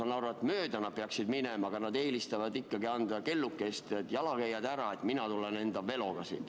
Ma saan aru, et jalgratturid peavad jalakäijatest mööda minema, aga nad eelistavad ikkagi anda kellukest, et jalakäijad eest ära, mina tulen enda veloga.